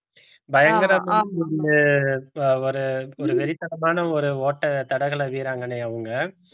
பயங்கரமா அஹ் ஒரு ஒரு வெறித்தனமான ஒரு ஓட்ட தடகள வீராங்கனை அவங்க